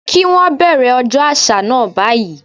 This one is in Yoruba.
Kí wón bẹ̀rẹ̀ ọjọ́ àṣà náà báyìí.